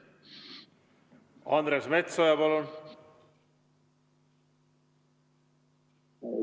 Andres Metsoja, palun!